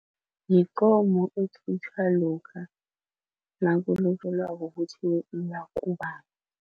Yikomo ekhutjhwa lokha nakulotjolwako